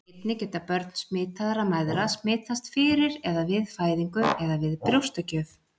einnig geta börn smitaðra mæðra smitast fyrir eða við fæðingu eða við brjóstagjöf